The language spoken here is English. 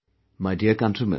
My dear countrymen